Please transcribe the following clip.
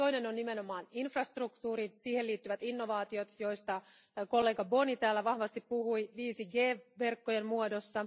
Toinen on nimenomaan infrastruktuuri, siihen liittyvät innovaatiot, joista kollega Boni täällä vahvasti puhui, 5G verkkojen muodossa.